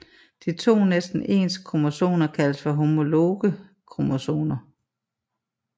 De to næsten ens kromosomer kaldes for homologe kromosomer